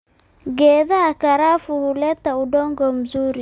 Geedaha karafu huleta udongo mzuri